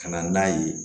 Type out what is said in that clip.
Ka na n'a ye